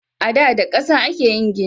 Ada da kasa ake yin gini.